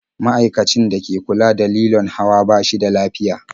Ma'aikacin da ke kula da lilon hawan ba shi da lafiya.